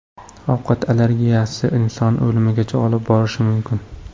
Ovqat allergiyasi insonni o‘limgacha olib borishi mumkin.